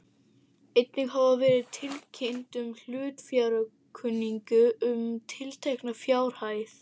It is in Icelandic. Einnig hafði verið tilkynnt um hlutafjáraukningu um tiltekna fjárhæð.